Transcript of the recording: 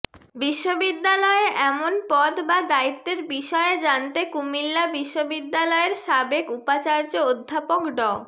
বিশ্ববিদ্যালয়ে এমন পদ বা দায়িত্বের বিষয়ে জানতে কুমিল্লা বিশ্ববিদ্যালয়ের সাবেক উপাচার্য অধ্যাপক ড